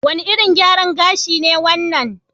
Wane irin gyaran gashi ne wannan?